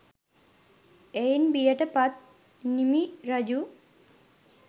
එයින් බියට පත් නිමි රජු